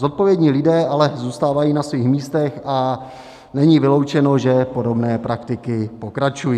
Zodpovědní lidé ale zůstávají na svých místech a není vyloučeno, že podobné praktiky pokračují.